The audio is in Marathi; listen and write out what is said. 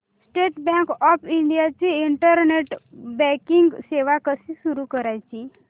स्टेट बँक ऑफ इंडिया ची इंटरनेट बँकिंग सेवा कशी सुरू करायची